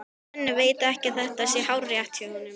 Svenni veit að þetta er hárrétt hjá honum.